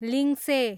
लिङ्से